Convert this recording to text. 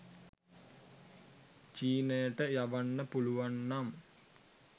චීනයට යවන්න පුළුවන් නම්